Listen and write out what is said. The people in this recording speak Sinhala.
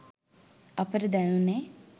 අපට දැනුනේ